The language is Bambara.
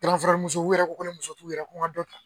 musow yɛrɛ ko ko ni muso t'u yɛrɛ ko n ka dɔ ta